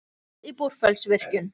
Rafall í Búrfellsvirkjun.